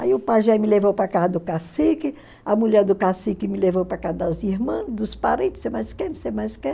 Aí o pajé me levou para a casa do cacique, a mulher do cacique me levou para a casa das irmãs, dos parentes, não sei mais o que, não sei mais o que.